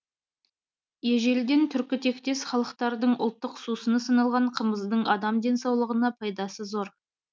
ежелден түркітектес халықтардың ұлттық сусыны саналған қымыздың адам денсаулығына пайдасы зор